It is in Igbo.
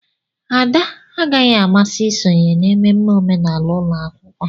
Ada agaghị amasị isonye na mmemme omenala ụlọ akwụkwọ.